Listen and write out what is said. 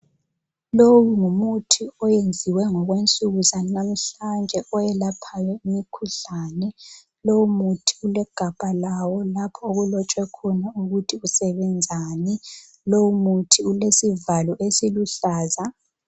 Lowu ngumuthi oyenziwe ngokwensuku zanamhlanje oyelaphayo imikhuhlane. Lowu muthi ulegabha lawo lapho okulotshwe khona ukuthi usebenzani. Lowu muthi ulesivalo esiluhlaza.